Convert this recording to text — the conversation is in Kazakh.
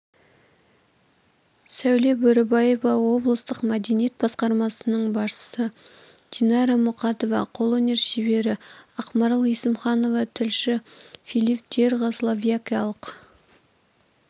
сәуле бөрібаева облыстық мәдениет басқармасының басшысы динара мұқатова қолөнер шебері ақмарал есімханова тілші филипп джерга словакиялық